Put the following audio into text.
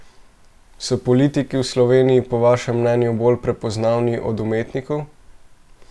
So politiki v Sloveniji po vašem mnenju bolj prepoznavni od umetnikov?